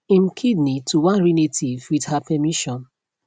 im kidney to one relative wit her permission